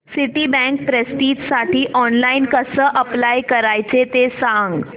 Citibank प्रेस्टिजसाठी online कसं apply करायचं ते सांग